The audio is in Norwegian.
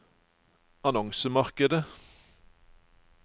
annonsemarkedet